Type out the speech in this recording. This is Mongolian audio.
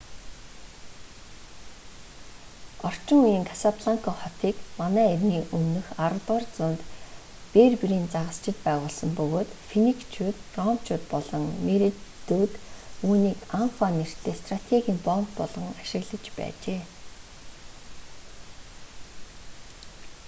орчин үеийн касабланка хотыг мэө 10-р зуунд берберийн загасчид байгуулсан бөгөөд финикчууд ромчууд болон меренидүүд үүнийг анфа нэртэй стратегийн боомт болгон ашиглаж байжээ